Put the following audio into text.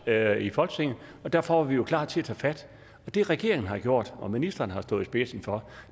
her i folketinget og derfor var vi jo klar til at tage fat det regeringen har gjort og ministeren har stået i spidsen for